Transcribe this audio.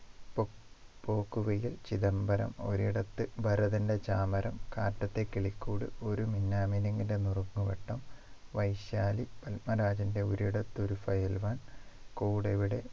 പൊ പോക്കുവെയിൽ ചിദംബരം ഒരിടത്ത് ഭരതന്റെ ചാമരം കാറ്റത്തെ കിളിക്കൂട് ഒരു മിന്നാമിനുങ്ങിന്റെ നുറുങ്ങുവെട്ടം വൈശാലി പത്മരാജന്റെ ഒരിടത്ത് ഒരു fileman കൂടെവിടെ